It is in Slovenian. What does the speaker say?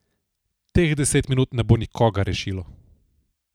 Teh deset minut ne bo nikogar rešilo.